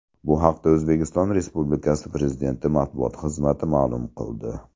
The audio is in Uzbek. Bu haqda O‘zbekiston Respublikasi Prezidenti Matbuot xizmati ma’lum qildi .